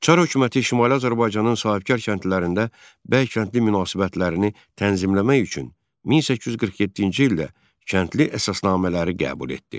Çar hökuməti Şimali Azərbaycanın sahibkar kəndlilərində bəy-kəndli münasibətlərini tənzimləmək üçün 1847-ci ildə kəndli əsasnamələri qəbul etdi.